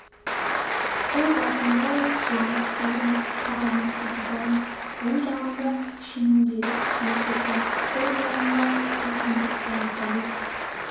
қол басындай жуантық келген қара мұртты бизанов оң жағында шеніндегі ахмет сұлтан сол жағында пұлқындық баймұхамед